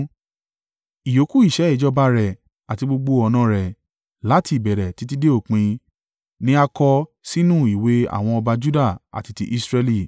Ìyókù iṣẹ́ ìjọba rẹ̀ àti gbogbo ọ̀nà rẹ̀, láti ìbẹ̀rẹ̀ títí dé òpin, ni a kọ sínú ìwé àwọn ọba Juda àti ti Israẹli.